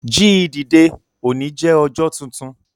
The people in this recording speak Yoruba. Jíì dìde! Ọ̀ní jẹ́ ọjọ́ tuntun.